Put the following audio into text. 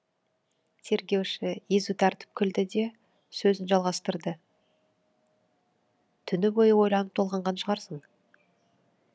тергеуші езу тартып күлді де сөзін жалғастырды түні бойы ойланып толғанған шығарсың